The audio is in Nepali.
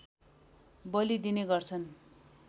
बलि दिने गर्छन्